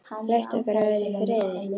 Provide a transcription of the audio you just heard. Leyft okkur að vera í friði?